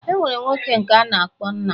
Enwere nwoke nke a na-akpọ nna.